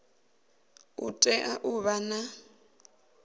u tea u vha na